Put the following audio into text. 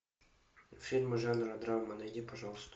фильмы жанра драма найди пожалуйста